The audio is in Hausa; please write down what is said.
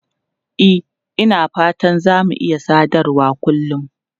E, Ina fata za mu iya sadarwa kullun.